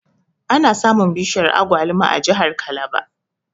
Ana samun bishiyar Agwaluma a jahar kalaba